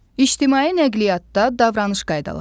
İctimai nəqliyyatda davranış qaydaları.